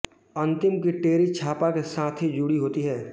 अंतिम की टेरी छापा के साथ ही जुड़ी होती है